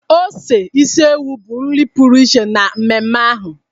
ose isi ewu bụ nri pụrụ iche na mmemme ahụ.